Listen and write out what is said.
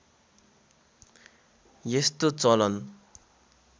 यस्तो चलन